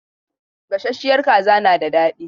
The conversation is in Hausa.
Gasasshiyar kaza na da dadi.